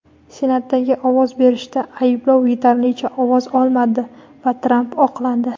Senatdagi ovoz berishda ayblov yetarlicha ovoz olmadi va Tramp oqlandi.